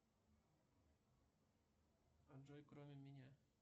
джой кроме меня